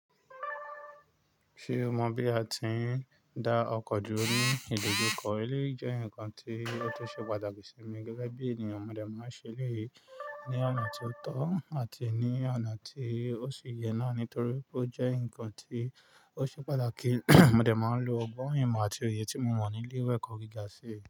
Ṣé o mọ bí a ti ń dá ọkọ̀ duro ní ìdojúkọ? Èleyii jẹ́ nǹkan tí ó tun ṣe pàtàkì sí mi gẹ́gẹ́ bí ènìyàn. Mọ̀dẹ̀ máa ń ṣe èleyii ní ọ̀nà tí ó tọ́ àti ní ọ̀nà tí ó ṣe ye náà nítorí pé ó jẹ́ ǹnkan tí ó ṣe pàtàkì. Mọ̀dẹ̀ máa ń lo ọgbọ́n imo àti òye tí mo mọ̀ nílé ìwé ẹ̀kọ́ gíga sí i.